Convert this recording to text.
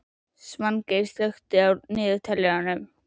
Svangeir, slökktu á niðurteljaranum.